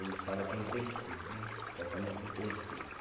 Eles fala que é intensivo né, tratamento intensivo.